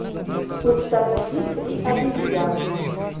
установи три обезьяны